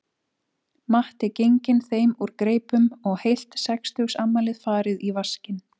Matti genginn þeim úr greipum og heilt sextugsafmæli farið í vaskinn